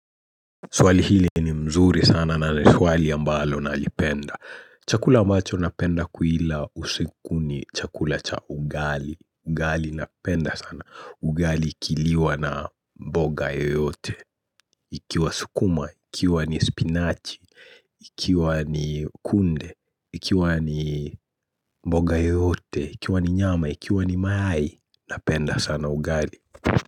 Swali hili ni mzuri sana na ni swali ambalo na lipenda. Chakula ambacho napenda kuila usiku ni chakula cha ugali. Ugali napenda sana. Ugali ikiliwa na mboga yeyote. Ikiwa sukuma, ikiwa ni spinachi, ikiwa ni kunde, ikiwa ni mboga yote, ikiwa ni nyama, ikiwa ni mayai. Napenda sana ugali.